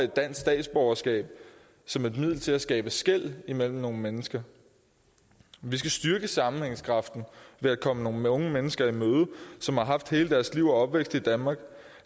dansk statsborgerskab som et middel til at skabe skel mellem nogle mennesker vi skal styrke sammenhængskraften ved at komme nogle unge mennesker i møde som har haft hele deres liv og opvækst i danmark